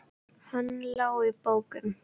Hann lá í bókum.